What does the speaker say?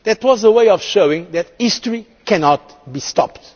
That was a way of showing that history cannot be stopped.